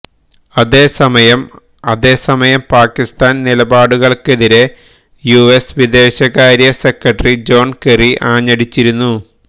അതേസമയം അതെസമയം പാകിസ്ഥാന് നിലപാടുകള്ക്കെതിരെ യുഎസ് വിദേശകാര്യ സെക്രട്ടറി ജോണ് കെറി ആഞ്ഞടിച്ചിരുന്നു